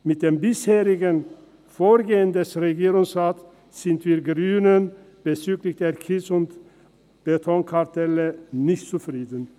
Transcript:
Mit dem bisherigen Vorgehen des Regierungsrates sind wir Grünen bezüglich der Kies- und Betonkartelle nicht zufrieden.